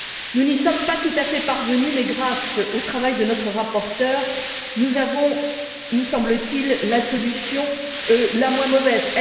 Nous n'y sommes pas tout à fait parvenus, mais grâce au travail de notre rapporteure, nous avons obtenu, nous semble t il, la solution la moins mauvaise.